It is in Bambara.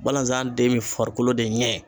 Balazan den bɛ farikolo de ɲɛ